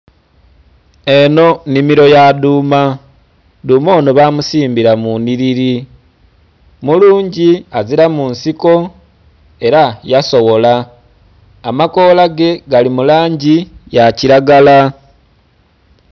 Eno nnhimiro yadhuma dhuma eno bamusimbira munhiriri mulungi aziramu nsiko era yasowola amakolage galimulangi yakiragala.